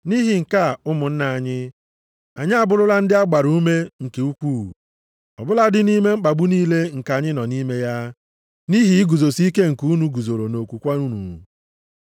Nʼihi nke a, ụmụnna anyị, anyị abụrụla ndị a gbara ume nke ukwuu, ọ bụladị nʼime mkpagbu niile nke anyị nọ nʼime ya, nʼihi iguzosi ike nke unu guzoro nʼokwukwe unu.